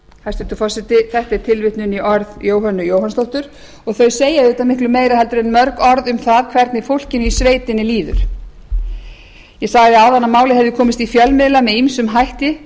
hæstvirtur forseti þetta er tilvitnun í orð jóhönnu jóhannsdóttur og þau segja auðvitað miklu meira heldur en mörg orð um það hvernig fólkinu í sveitinni líður ég sagði áðan að málið hefði komist í fjölmiðla með ýmsum hætti